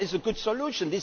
What is a good solution?